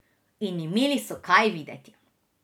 In imeli so kaj videti.